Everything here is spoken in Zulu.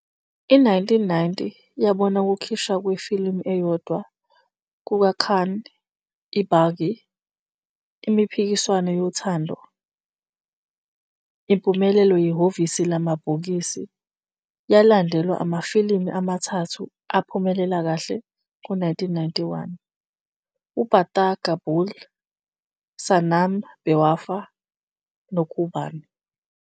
I-1990 yabona ukukhishwa kwefilimu eyodwa kukaKhan, EBaaghi- Impikiswano Yothando, impumelelo yehhovisi lamabhokisi, yalandelwa amafilimu amathathu aphumelela kahle ngo-1991, uPatthar Ke Phool, Sanam Bewafa, noKurbaan.